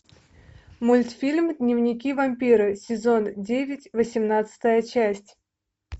мультфильм дневники вампира сезон девять восемнадцатая часть